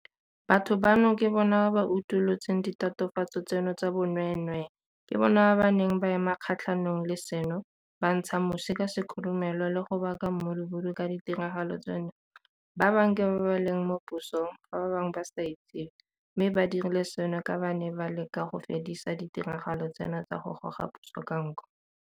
Batho bano ke bona ba ba utolotseng ditatofatso tseno tsa bonweenwee, ke bona ba ba neng ba ema kgatlhanong le seno, ba ntsha musi ka sekhurumelo le go baka mmudubudu ka ditiragalo tseno ba bangwe ke ba ba leng mo pusong fa ba bangwe ba sa itsewe mme ba dirile seno ka ba ne ba leka go fedisa ditiragalo tseno tsa go goga puso ka nko.